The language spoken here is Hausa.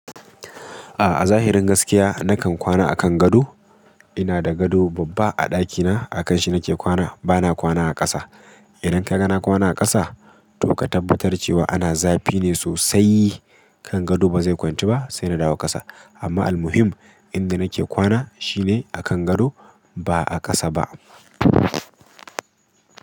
A'a, a zahirin gaskiya nakan kwana a kan gado. Ina da gado babba a ɗakina, a kanshi nake kwana. Bana kwana a ƙasa. Idan ka ga na kwana a ƙasa, to ka tabbatar cewa ana zafi ne sosai. Kan gado bazai kwantu ba, saina dawo ƙasa. Amma almuhim inda nake kwana shine a kan gado ba'a ƙasa ba.